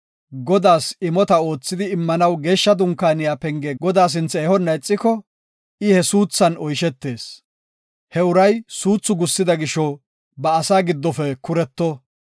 Godaas imota oothidi immanaw Geeshsha Dunkaaniya penge Godaa sinthe ehonna ixiko, I he suuthan oyshetees. He uray suuthu gussida gisho ba asaa giddofe kuretto.